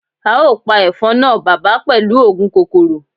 Ao pa efon na baba pelu oogun kokoro